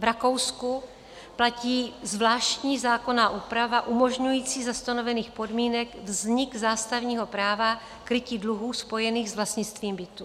V Rakousku platí zvláštní zákonná úprava umožňující za stanovených podmínek vznik zástavního práva krytí dluhů spojených s vlastnictvím bytů.